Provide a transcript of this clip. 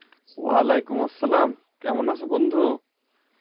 ওয়ালাইকুম আসসালাম কেমন আছো বন্ধু